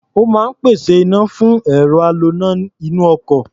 Ó máa ń pèsè iná fún ẹ̀rọ aloná inú ọkọ̀.